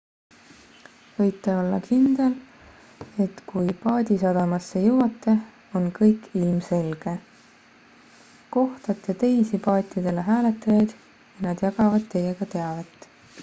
võite olla kindel et kui paadisadamasse jõuate on kõik ilmselge kohtate teisi paatidele hääletajaid ja nad jagavad teiega teavet